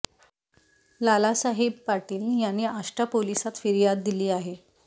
लालासाहेब पाटील यांनी आष्टा पोलिसात फिर्याद दिली आहे